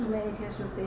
Nə mekeş oldu?